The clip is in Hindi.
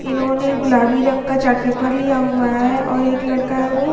इन्होंने गुलाबी रंग का चार्ट पेपर लिया हुआ है और एक लड़का है वो --